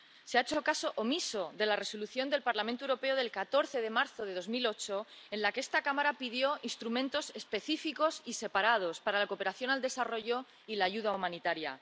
Se ha hecho caso omiso de la Resolución del Parlamento Europeo del 14 de marzo de 2008, en la que esta Cámara pidió instrumentos específicos y separados para la cooperación al desarrollo y la ayuda humanitaria.